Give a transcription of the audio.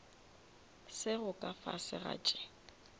sego ka fase ga tše